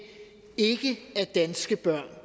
ikke er danske børn